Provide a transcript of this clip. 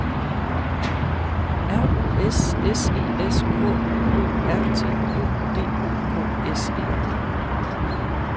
R U S S I S K O R T O D O K S E